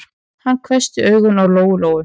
Hann hvessti augun á Lóu-Lóu.